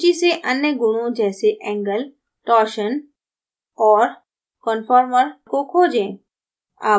सूची से अन्य गुणों जैसे angle torsion और conformer को खोजें